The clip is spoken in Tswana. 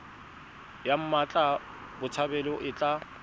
ya mmatla botshabelo e tla